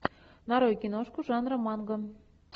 нарой киношку жанра манга